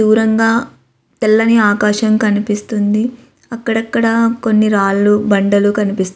దూరంగా తెల్లని ఆకాశం కనిపిస్తుంది అక్కడక్కడ కొన్ని రాళ్ళు బండలు కనిపిస్తున్నాయి.